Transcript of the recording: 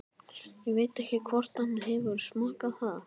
Ég veit ekki hvort hann hefur smakkað það.